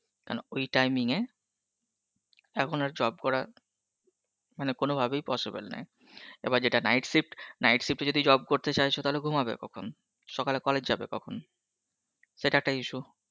কেন ওই timing এ, এখন আর job করা মানে কোনো ভাবেই possible নয়, এবার যেটা night shift, night shift এ যদি job করে চাইছো তাহলে ঘুমাবে কখন? সকালে college যাবে কখন? সেটা একটা issue.